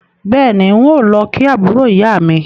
Bẹ́ẹ̀ni, n ó lọ kí àbúrò ìyá mi